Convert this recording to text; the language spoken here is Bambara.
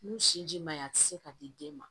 N'u sinji man ɲi a tɛ se ka di den ma